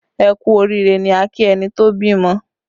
Ẹ kú oriire ni a ki ẹni tó bímọ